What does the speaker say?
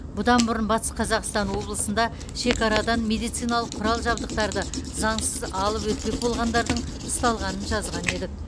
бұдан бұрын батыс қазақстан облысында шекарадан медициналық құрал жабдықтарды заңсыз алып өтпек болғандардың ұсталғанын жазған едік